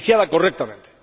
correctamente.